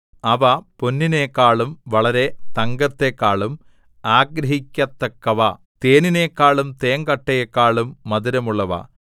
അവ പൊന്നിനെക്കാളും വളരെ തങ്കത്തെക്കാളും ആഗ്രഹിക്കത്തക്കവ തേനിനേക്കാളും തേങ്കട്ടയേക്കാളും മധുരമുള്ളവ